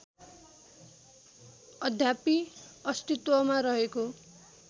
अद्यापि अस्तित्वमा रहेको